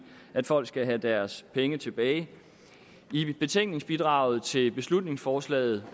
at folk skal have deres penge tilbage i betænkningsbidraget til beslutningsforslaget